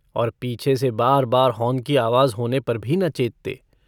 और पीछे से बार-बार हॉर्न की आवाज़ होने पर भी न चेतते।